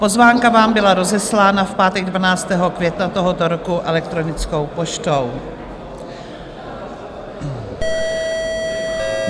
Pozvánka vám byla rozeslána v pátek 12. května tohoto roku elektronickou poštou.